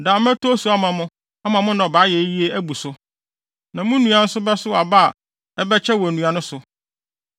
daa mɛtɔ osu ama mo ama mo nnɔbae ayɛ yiye abu so, na mo nnua nso bɛsow aba a ɛbɛkyɛ wɔ nnua no so.